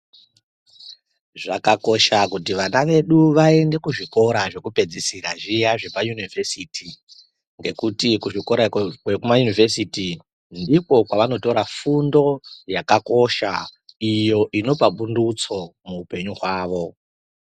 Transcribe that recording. Zvakakosha kuti vana vedu vaende kuzvikora zvedera zvekupedzisira zviya zveoa univhesiti ngekuti kuzvikora kwekuma univhesiti ndiko kwawanotora fundo yakakosha iyo inopa pundutsa muhupenyu hwawo.